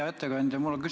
Hea ettekandja!